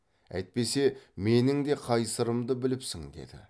әйтпесе менің де қай сырымды біліпсің деді